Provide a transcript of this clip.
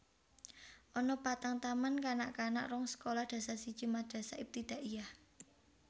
Ana patang taman kanak kanak rong sekolah dasar siji Madrasah Ibtidaiyah